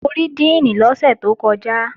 Mo rí díìnì lọ́sẹ̀ tó kọjá